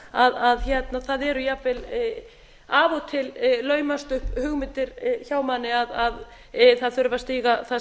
að það eru jafnvel af og til laumast upp hugmyndir hjá manni að það þurfi að stíga það